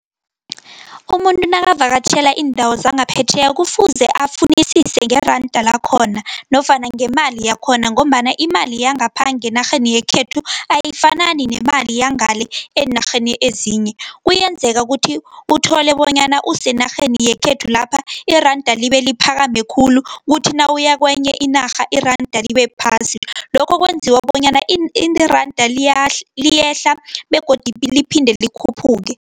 Umuntu nakavakatjhela iindawo zangaphetjheya, kufuze afunisise ngeranda lakhona, nofana ngemali yakhona, ngombana imali yangapha ngenarheni yekhethu, ayifanani nemali yangale eenarheni ezinye. Kuyenzeka kuthi uthole bonyana usenarheni yekhethu lapha, iranda libe liphakame khulu, kuthi nawuya keenye inarha iranda libe phasi, lokho kwenziwa bonyana iranda liyehla begodu liphinde likhuphuke.